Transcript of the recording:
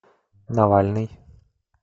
навальный